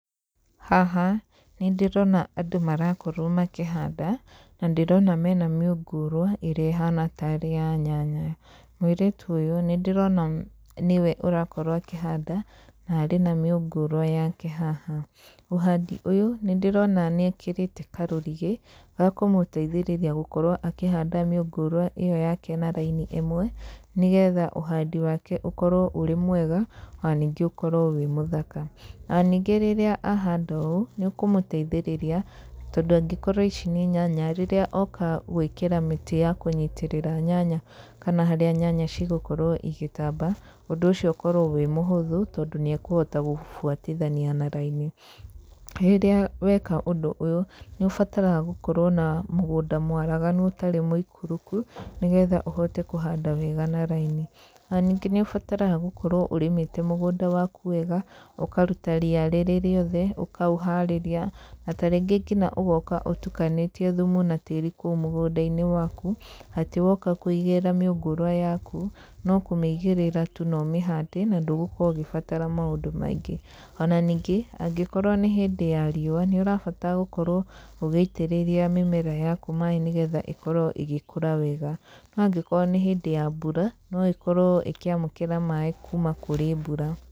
Haha, nĩ ndĩrona andũ marakorwo makĩhanda na ndĩrona hena mĩungurwa ĩrĩa ĩhana tarĩ ya nyanya. Mũirĩtu ũyũ nĩ ndĩrona tarĩ we ũrakorwo akĩhanda na arĩ na mĩungurwa yake haha. Ũhandi ũyũ nĩ ndĩrona nĩ ekĩrĩte karũrigi gakũmũteithĩrĩĩria gũkorwo akĩhanda mĩungurwa ĩyo yake na raini ĩmwe nĩ getha ũhandi wake ũkorwo ũrĩ mwega ona ningĩ ũkorwo ũrĩ mũthaka. Ona ningĩ rĩrĩa ahanda ũũ nĩ ũkũmũteithĩrĩria tondũ angĩkorwo ici nĩ nyanya rĩrĩa oka gwĩkĩra mĩtĩ ya kũnyitĩrĩra nyanya rĩrĩa nyanya igũkorwo igĩtamba, ũndũ ũcio nĩ ũgũkorwo wĩ mũhuthũ tondũ nĩ ekũhota gũcibuatithania na raini. Rĩrĩa weka ũndũ ũyũ, nĩ ũbataraga gũkorwo na mũgunda mwaraganu ũtarĩ mũikũrũku nĩ getha ũhote kũhanda wega na raini. Na ningĩ nĩ ũbataraga gũkorwo ũrĩmĩte mũgunda waku wega ũkaruta ria rĩrĩ rĩothe ũkaũharĩrĩria na ta rĩngĩ ngina ũgoka ũtukanĩtie thumu na tĩri kũu mũgũnda-inĩ waku, atĩ woika kũigĩrĩra mĩungurwa yaku no kũmĩigĩrĩra tu na ũmĩhande na ndũgũkorwo ũgĩbatara maũndũ maingĩ. Ona ningĩ angĩkorwo nĩ hĩndĩ ya riũa nĩ ũrabatara gũkorwo ũgĩitĩrĩria mĩmera yaku maai nĩ getha ĩkorwo ĩgĩkũra wega. No angĩkorwo nĩ hĩndĩ ya mbura no ĩkorwo ĩkĩamũkĩra maaĩ kuma kũrĩ mbura.